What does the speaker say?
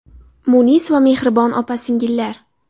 Munis va mehribon opa-singillar!